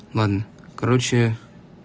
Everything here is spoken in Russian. ладно короче